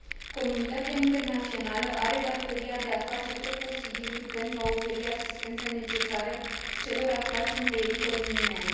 Comunitatea internațională are datoria de a face tot posibilul pentru a oferi asistența necesară celor aflați în pericol iminent.